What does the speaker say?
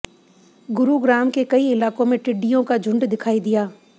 गुरुग्राम के कई इलाकों में टिड्डियों का झुंड दिखाई दिया